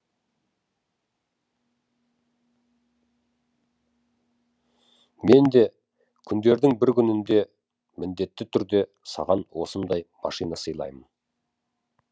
мен де күндердің бір күнінде міндетті түрде саған осындай машина сыйлаймын